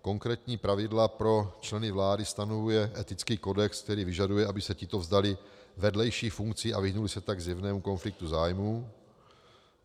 Konkrétní pravidla pro členy vlády stanovuje etický kodex, který vyžaduje, aby se tito vzdali vedlejších funkcí a vyhnuli se tak zjevnému konfliktu zájmů.